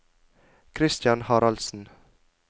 Kristian Haraldsen